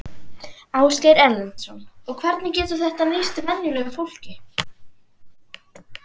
Ásgeir Erlendsson: Og hvernig getur þetta nýst venjulegu fólki?